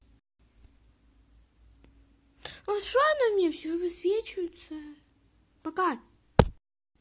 а что она мне всё высвечивается пока